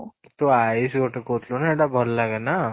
ତୁ ଆୟୁଷ ଗୋଟେ କହୁଥିଲୁ ନା ସେଠା ଭଲ ଲାଗେ ନା